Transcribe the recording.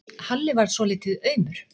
Halli varð svolítið aumur.